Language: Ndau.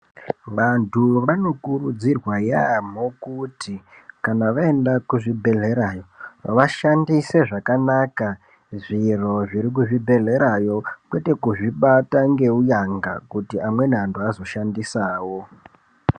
Vantu vanokurudzirwa yaamho kuti kana vaenda kuzvibhedhlerayo vashandise zvakanaka zviro zviri kuzvibhedhlerayo. Kwete kuzvibata ngeunyanga kuti amweni antu hazoshandisa wo.